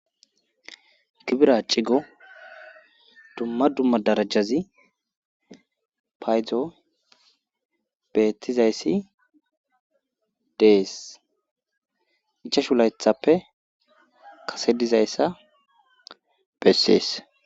Gibra cigo dumma dumma darajazi paydzo beettizayssi dees ichashu laythappe kase dizayssa bessees